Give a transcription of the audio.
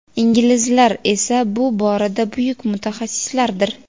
inglizlar esa bu borada buyuk mutaxassislardir.